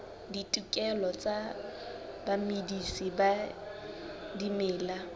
ditokelo tsa bamedisi ba dimela